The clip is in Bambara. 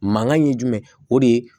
Mankan ye jumɛn o de ye